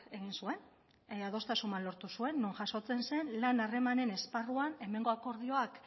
egin zuen adostasun bat lortu zuen non jasotzen zen lan harremanen esparruan hemengo akordioak